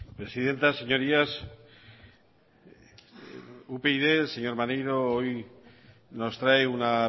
presidenta señorías upyd el señor maneiro hoy nos trae una